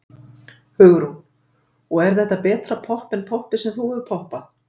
Hugrún: Og er þetta betra popp en poppið sem þú hefur poppað?